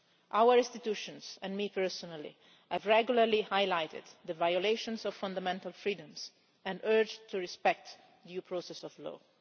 Our institutions, and I personally, have regularly highlighted the violations of fundamental freedoms and urged respect for due process of law.